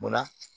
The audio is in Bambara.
Munna